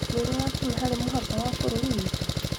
Nĩũrĩ wakinya harĩ mũhaka wa bũrũri witũ?